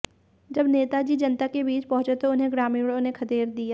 जब नेता जी जनता के बीच पहुंचे तो उन्हें ग्रामीणों ने खदेड़ दिया